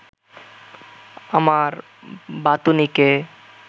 আমার বাতুনিকে